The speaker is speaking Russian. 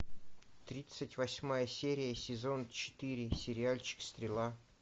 тридцать восьмая серия сезон четыре сериальчик стрела